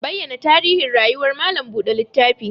Bayyana tarihin rayuwar malam buɗe littafi!